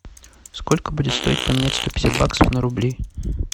сколько будет стоить поменять сто пятьдесят баксов на рубли